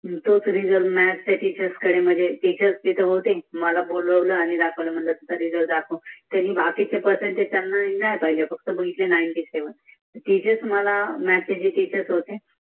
तोच निकाल म्याथ च्या शिक्षकांकडे दाखवला त्यांनी बखीचे पर्सेन्तेज चांग्ल्याने नाही पहिले फक्त सत्त्याण्णव बघितले निनेत्य सेवेन